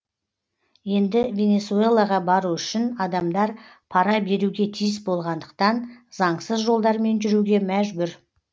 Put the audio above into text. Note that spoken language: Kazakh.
енді венесуэлаға бару үшін адамдар пара беруге тиіс болғандықтан заңсыз жолдармен жүруге мәжбүр